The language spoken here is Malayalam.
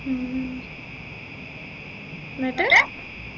ഉം എന്നിട്ട്